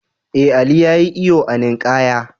Ee, Ali ya yi iyo a ninkaya.